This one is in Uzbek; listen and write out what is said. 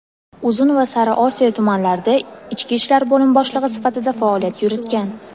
Uzun va Sariosiyo tumanlarida ichki ishlar bo‘limi boshlig‘i sifatida faoliyat yuritgan.